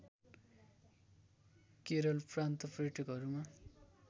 केरल प्रान्त पर्यटकहरूमा